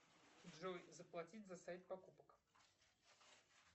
джой заплатить за сайт покупок